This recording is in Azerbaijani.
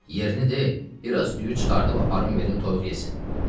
Yerini de, biraz düyü çıxardıb aparım verim toyuq yesin.